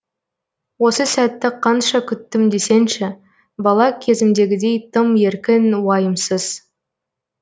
осы сәтті қанша күттім десеңші бала кезімдегідей тым еркін уайымсыз